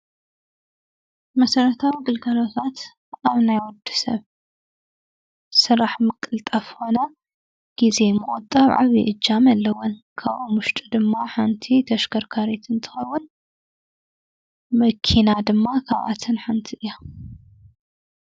መሰረታዊ ግልጋሎታት ኣብ ናይ ወዲሰብ ስራሕ ምቅልጣፍን ኮነ ግዜ ምቁጣብ ዓብዩ እጃም ኣለወን ።ካብኣን ውሽጢ ድማ ሓንቲ ተሽከርካሪት እትኸውን መኪና ድማ ካብኣተን ሓንቲ እያ።